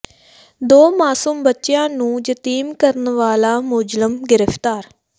ਦੋ ਮਾਸੂਮ ਬੱਚਿਆਂ ਨੂੰ ਯਤੀਮ ਕਰਨ ਵਾਲਾ ਮੁਲਜ਼ਮ ਗਿ੍ਫ਼ਤਾਰ